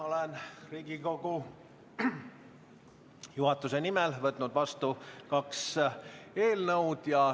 Olen Riigikogu juhatuse nimel võtnud vastu kaks eelnõu.